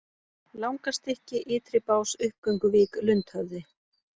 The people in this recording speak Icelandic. Langastsykki, Ytribás, Uppgönguvík, Lundhöfði